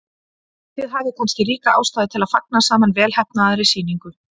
Þið hafið kannski ríka ástæðu til að fagna saman velheppnaðri sýningu.